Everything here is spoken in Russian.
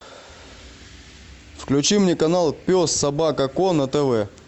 включи мне канал пес собака ко на тв